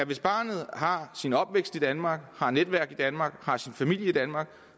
hvis barnet har sin opvækst i danmark har sit netværk i danmark har sin familie i danmark